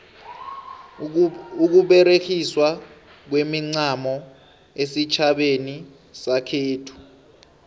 ukuberegiswa kwemincamo esitjhabeni sekhethu